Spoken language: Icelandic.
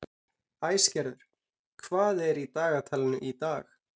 Æsgerður, hvað er í dagatalinu í dag?